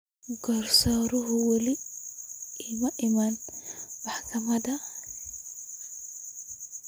Garsooruhu weli ma iman maxkamada.